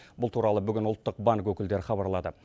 бұл туралы бүгін ұлттық банк өкілдері хабарлады